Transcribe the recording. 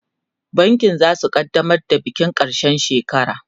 bankin zasu kaddamar da bikin karshen shekara